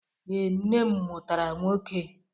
Ee, nne m mụtara nwoke.